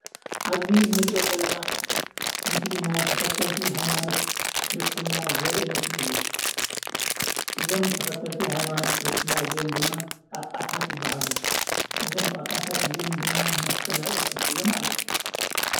ኣብዚ እንርእዬ ዘለና ምስሊ ምስሊ ናይ ተኸተልቲ ሃይማኖት ክርስትና ዘርኢ ምስሊ እዬ ። እዞም ተኸተልቲ ሃይማኖት ክርስትና እዚኦም ድማ ጳጳሳት ይበሃሉ ። እዞም ጳጳሳት እዚኦም ድማ መስቀል ኣብ ኢዶም ሒዞም ኣለው ።